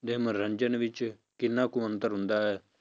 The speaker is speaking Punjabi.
ਦੇ ਮਨੋਰੰਜਨ ਵਿੱਚ ਕਿੰਨਾ ਕੁ ਅੰਤਰ ਹੁੰਦਾ ਹੈ?